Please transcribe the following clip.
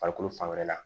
Farikolo fan wɛrɛ la